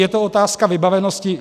Je to otázka vybavenosti.